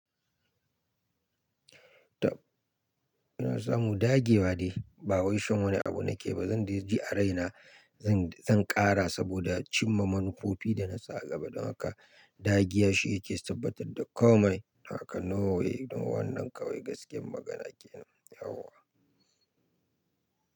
Tab una samu dage wa ne, ba wai shan wani abu na ke ba. Zan je GRA na zan, zan ƙara saboda cimma manufofi da na sa a gaba. Don haka dagiya shi yake tabbatar da komai. Haka no way don wannan kawai gaskiyar magana ke nan yauwa.